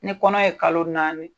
Ni kɔnɔ ye kalo naani